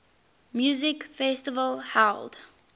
music festival held